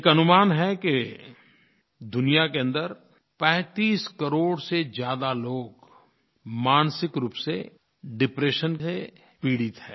एक अनुमान है कि दुनिया के अन्दर 35 करोड़ से ज़्यादा लोग मानसिक रूप से डिप्रेशन से पीड़ित हैं